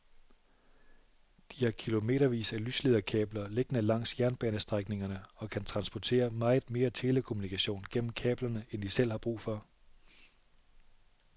De har kilometervis af lyslederkabler liggende langs jernbanestrækningerne og kan transportere meget mere telekommunikation gennem kablerne end de selv har brug for.